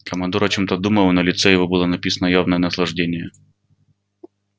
командор о чём-то думал и на лице его было написано явное наслаждение